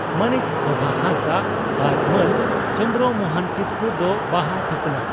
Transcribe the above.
ᱢᱟᱹᱱᱤᱡ ᱥᱳᱵᱷᱟᱦᱟᱸᱥᱫᱟᱜ ᱟᱨ ᱢᱟᱹᱱ ᱪᱚᱱᱫᱨᱚ ᱢᱚᱦᱚᱱ ᱠᱤᱥᱠᱩ ᱫᱚ ᱵᱟᱦᱟ ᱛᱷᱩᱯᱱᱟᱜ